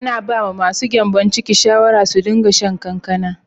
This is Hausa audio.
Ana ba ma su gyanbon ciki shawara su din ga shan kankana.